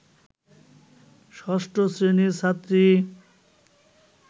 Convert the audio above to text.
ষষ্ঠ শ্রেণির ছাত্রী